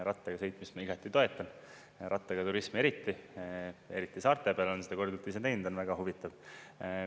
Rattaga sõitmist ma igati toetan, rattaga turismi, eriti saarte peal olen seda korduvalt teinud, on väga huvitav.